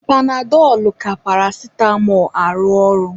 Panadọlụ ka paracitamọ arụ ọrụ.